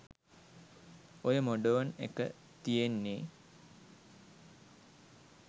ඔය මොඩර්න් එක තියෙන්නේ